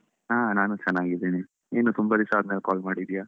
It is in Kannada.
ಹಾ ನಾನು ಚೆನ್ನಾಗಿದ್ದೀನಿ. ಏನ್ ತುಂಬ ದಿವಸ ಆದ್ಮೇಲೆ call ಮಾಡಿದ್ಯಾ?